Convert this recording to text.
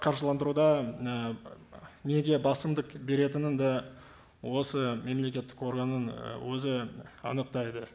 қаржыландыруда і неге басымдық беретінін де осы мемлекеттік органның і өзі анықтайды